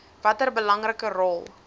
watter belangrike rol